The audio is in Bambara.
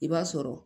I b'a sɔrɔ